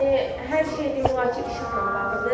Yəni hər şey demək olar ki, işıqla bağlıdır.